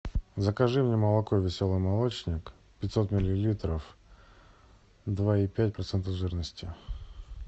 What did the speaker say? закажи мне молоко веселый молочник пятьсот миллилитров два и пять процентов жирности